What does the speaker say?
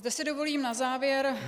Zde si dovolím na závěr -